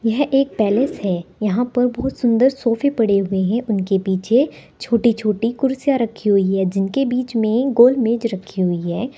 यह एक पैलेस है यहां पर बहोत सुंदर सोफे पड़े हुए हैं उनके पीछे छोटे छोटे कुर्सियां रखी हुई है जिनके बीच में गोलमेज रखी हुई है।